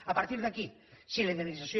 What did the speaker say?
a partir d’aquí si la indemnització